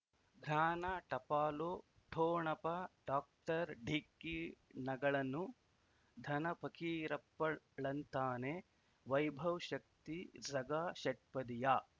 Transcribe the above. ಜ್ಞಾನ ಟಪಾಲು ಠೊಣಪ ಡಾಕ್ಟರ್ ಢಿಕ್ಕಿ ಣಗಳನು ಧನ ಫಕೀರಪ್ಪಳ್ ಳಂತಾನೆ ವೈಭವ್ ಶಕ್ತಿ ಝಗಾ ಷಟ್ಪದಿಯ